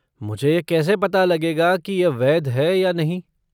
मुझे यह कैसे पता लगेगा कि यह वैध है या नहीं?